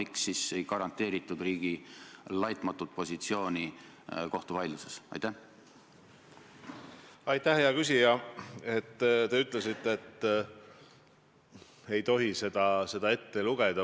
Kui siseminister väidab teistpidist ja uurimisasutused kuuluvad tema pädevusse või tema haldusalasse, siis peaksid tal olema teistsugused tõendid.